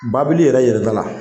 Babili yɛrɛ yɛlɛda la.